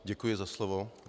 Děkuji za slovo.